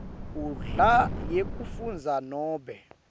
nkhundla yekufundza nobe